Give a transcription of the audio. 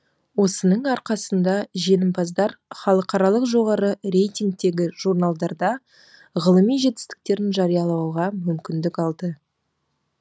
осының арқасында жеңімпаздар халықаралық жоғары рейтингтегі журналдарда ғылыми жетістіктерін жариялауға мүмкіндік алды